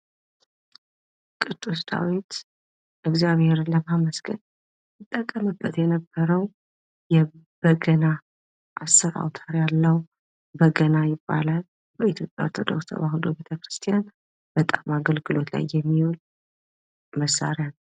ቅዱስ ዳዊት እግዚአብሔርን ለማመስገን ይጠቀምበት የነበረው የበገና አስር አውታር ያለው በገና ይባላል ።በኢትዮጵያ ኦርቶዶክስ ተዋህዶ ቤተክርስቲያን በጣም አገልግሎት ላይ የሚውል መሳሪያ ነው።